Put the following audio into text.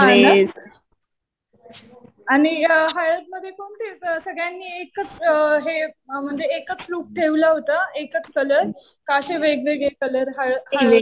हा ना. आणि हळद मध्ये कोणते? सगळ्यांनी एकच हे म्हणजे एकच लूक ठेवलं होतं, एकच कलर. का असे वेगवेगळे कलर हळद मध्ये ?